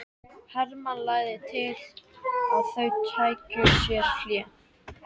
Hermann lagði til að þau tækju sér hlé.